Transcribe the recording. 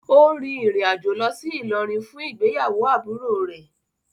Ó rin ìrìn àjò lọ sí ìlọrin fún ìgbéyàwó àbúrò rẹ̀.